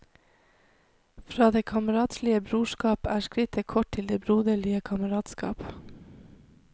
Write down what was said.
Fra det kameratslige brorskap er skrittet kort til det broderlige kameratskap.